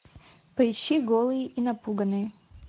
поищи голые и напуганные